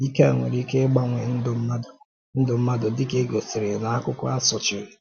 Ike a nwere ike ịgbanwe ndụ mmadụ, ndụ mmadụ, dịka e gosiri na akụkọ a sochiri.